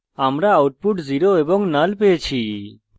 আমরা output পেয়েছি 0 এবং null